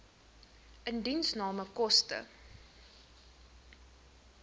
indiensname koste